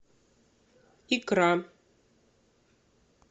икра